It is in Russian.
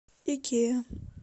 икея